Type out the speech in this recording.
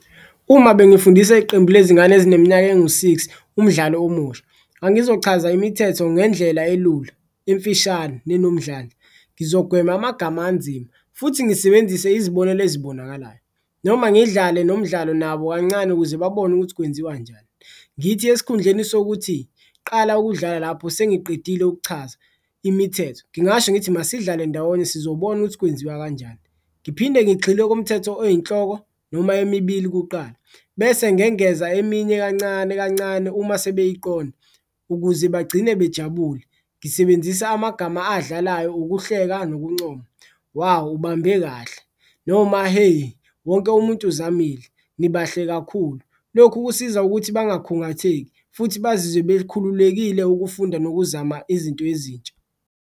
Uma bengifundisa iqembu lezingane ezineminyaka ngo-six umdlalo omusha ngangizochaza imithetho ngendlela elula, emfishane nenomdlandla, ngizogwema amagama anzima futhi ngisebenzise izibonelo ezibonakalayo noma ngidlale nomdlalo nabo kancane ukuze babone ukuthi kwenziwa njani. Ngithi esikhundleni sokuthi qala ukudlala lapho sengiqedile ukuchaza imithetho ngingasho ngithi masidlale ndawonye sizobona ukuthi kwenziwa kanjani, ngiphinde ngigxile kumthetho oyinhloko noma emibili kuqala. Bese ngengeza eminye kancane kancane uma sebeyiqonda ukuze bagcine bejabule ngisebenzisa amagama adlalayo, ukuhleka nokuncoma, wawu ubambe kahle noma heyi wonke umuntu uzamile, nibahle kakhulu. Lokhu kusiza ukuthi bangakhungatheki futhi bazizwe bekhululekile ukufunda nokuzama izinto ezintsha.